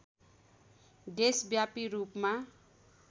देशव्यापी रूपमा